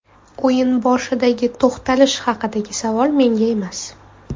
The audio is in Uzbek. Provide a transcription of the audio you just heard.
O‘yin boshidagi to‘xtalish haqidagi savol menga emas.